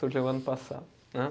Surgiu ano passado, né.